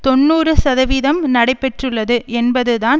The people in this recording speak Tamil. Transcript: தொன்னூறு சதவிதம் நடைபெற்றுள்ளது என்பதுதான்